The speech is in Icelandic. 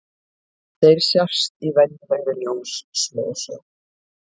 Þeir sjást í venjulegri ljóssmásjá.